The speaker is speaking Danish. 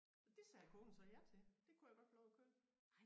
Og det sagde konen så ja til det kunne jeg godt få lov at købe